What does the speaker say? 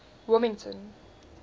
wilmington